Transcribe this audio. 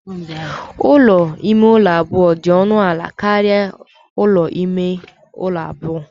Ụlọ ime ụlọ abụọ dị ọnụ ala karịa ụlọ ime ụlọ abụọ